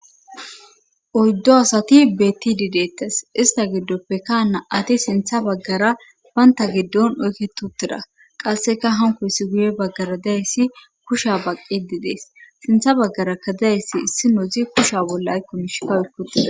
oyddu asati bettidi dettes ista giddoppekka na7ati sintha baggara baynta giddon oykke tuttida qasseka hankoyssi guye baggara dayssi kusha baqqididees sintha baggara kadayyssi issi nozi kusha bolla aykomishka oyki utides